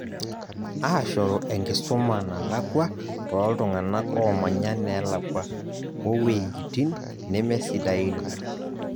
Aashoru enkisuma nalakua tooltung'anak oomanya neelakua, owejitin nemesidain.